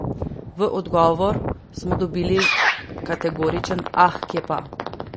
V odgovor smo dobili kategoričen: 'Ah, kje pa!